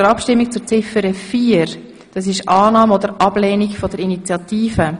Wir kommen zu Ziffer 4, zur Annahme oder Ablehnung der Initiative.